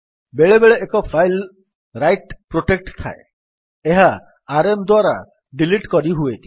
ବେଳେବେଳେ ଏକ file write protect ଥାଏ ଏହା ଆରଏମ୍ ଦ୍ୱାରା ଡିଲିଟ୍ କରିହୁଏନି